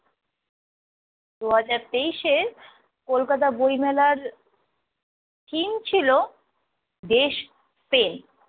দুই হাজার তেইশ এর কলকাতা বইমেলার theme ছিল দেশপ্রেম।